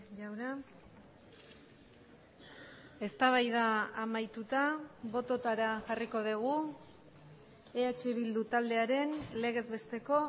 jauna eztabaida amaituta bototara jarriko dugu eh bildu taldearen legez besteko